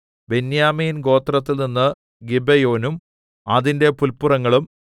ബെന്യാമീൻ ഗോത്രത്തിൽനിന്ന് ഗിബെയോനും അതിന്റെ പുല്പുറങ്ങളും